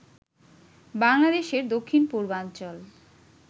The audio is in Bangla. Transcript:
বাংলাদেশের দক্ষিণ পূর্বাঞ্চল